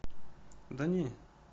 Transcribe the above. да не